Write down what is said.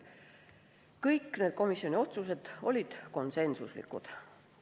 Kõik need komisjoni otsused olid konsensuslikud.